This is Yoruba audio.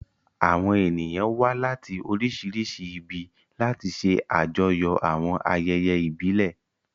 Àwọn ènìyàn wá láti oríṣiríṣi ibi láti ṣe àjọyọ̀ àwọn ayẹyẹ ìbílẹ̀.